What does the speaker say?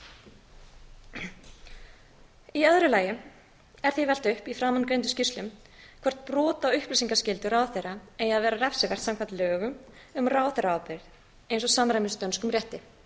í öðru lagi er því velt upp í framangreindum skýrslum hvort brot á upplýsingaskyldu ráðherra eigi að vera refsivert samkvæmt lögum um ráðherraábyrgð eins og samræmist dönskum rétti